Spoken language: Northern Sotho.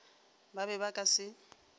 ba be ba ka se